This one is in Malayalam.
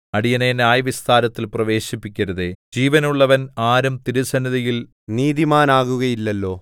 അടിയനെ ന്യായവിസ്താരത്തിൽ പ്രവേശിപ്പിക്കരുതേ ജീവനുള്ളവൻ ആരും തിരുസന്നിധിയിൽ നീതിമാനാകുകയില്ലല്ലോ